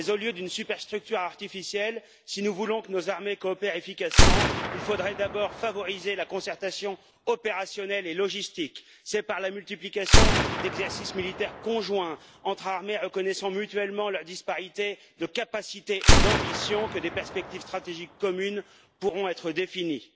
Mais au lieu d'une superstructure artificielle, si nous voulons que nos armées coopèrent efficacement, il faudrait d'abord favoriser la concertation opérationnelle et logistique c'est par la multiplication d'exercices militaires conjoints entre armées reconnaissant mutuellement la disparité de capacités et d'ambitions que des perspectives stratégiques communes pourront être définies.